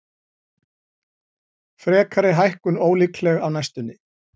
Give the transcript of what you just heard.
Frekari hækkun ólíkleg á næstunni